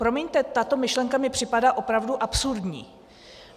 Promiňte, tato myšlenka mi připadá opravdu absurdní.